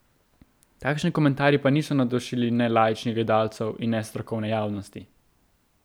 Takšni komentarji pa niso navdušili ne laičnih gledalcev in ne strokovne javnosti.